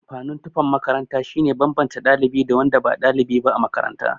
Amfanin tufan makaranta shine banbance ɗalibi da wanda ba ɗalibi ba a makaranta.